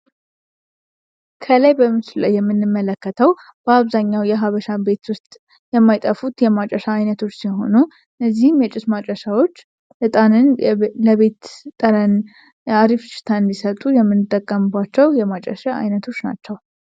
ከላይ በምሱል ላይ የሚንመለከተው በአብዛኛው የሀበሻ ቤት ውስጥ የማይጠፉት የማጨሻ አይነቶች ሲሆኑ እነዚህም የጭስ ማጨሻዎች እጣንን ለቤት ጠረን የአሪፍ ሽታ እንዲሰጡ የሚንጠቀምቧቸው የማጨሻ አይነቶች ናቸው።